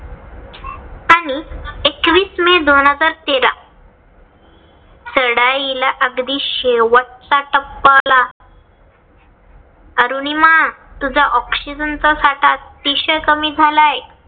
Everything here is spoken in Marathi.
चोवीस मे दोन हजार तेरा चढाई ला अगदी शेवटचा टप्पा आला. अरुनिमा तुझा OXYGEN चा साठा अतिशय कमी झालाय